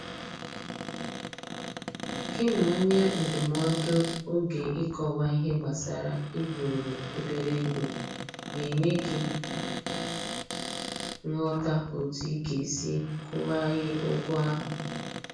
Gị na onye ndụmọdụ oge Ịkọwa ihe gbasara iburu obere ego ga enye gị nghọta otu ị ga-esi kwụ ghaghị ụgwọ ahụ.